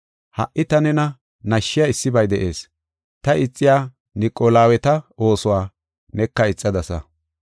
Ha77i ta nena nashshiya issibay de7ees; ta ixiya Niqolaweeta oosuwa neka ixadasa.